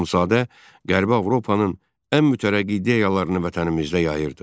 Axundzadə Qərbi Avropanın ən mütərəqqi ideyalarını vətənimizdə yayırdı.